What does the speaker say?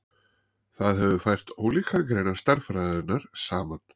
það hefur fært ólíkar greinar stærðfræðinnar saman